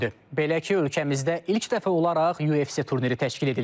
Belə ki, ölkəmizdə ilk dəfə olaraq UFC turniri təşkil edilir.